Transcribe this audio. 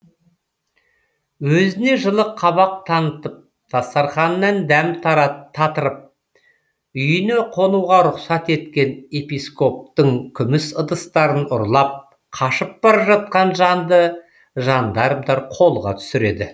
өзіне жылы қабақ танытып дастарханынан дәм татырып үйіне қонуға рұқсат еткен епископтың күміс ыдыстарын ұрлап қашып бара жатқан жанды жандармдар қолға түсіреді